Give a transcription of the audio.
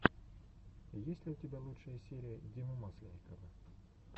есть ли у тебя лучшая серия димы масленникова